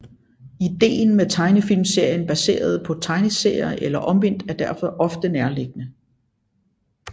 Ideen med tegnefilmserier baseret på tegneserier eller omvendt er derfor ofte nærliggende